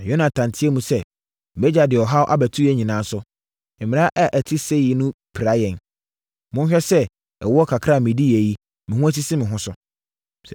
Na Yonatan teaam sɛ, “Mʼagya de ɔhaw abɛto yɛn nyinaa so. Mmara a ɛte seyie no pira yɛn. Monhwɛ sɛ ɛwoɔ kakra a mediiɛ yi, me ho asisi me ho so.